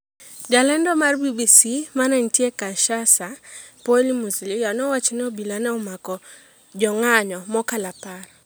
Ja lendo mar BBC ma nitie Kinshasa Poly Muzalia owacho ni obila ne omako jong'anyo mokalo apar.